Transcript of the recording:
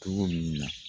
Togo minnu na